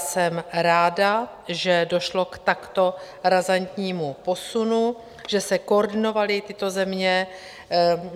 Jsem ráda, že došlo k takto razantnímu posunu, že se koordinovaly tyto země.